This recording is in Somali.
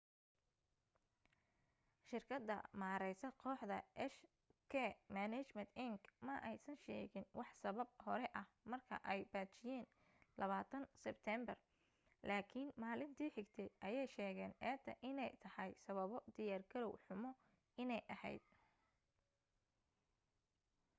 shirkada maareysa kooxda hk management inc ma aysan sheegin wax sabab hore ah marka ay baajiyen 20 sibteembar laakin maalinti xigtay ayee sheegen eeda ine tahay sababo diyaar garow xumo ine aheyd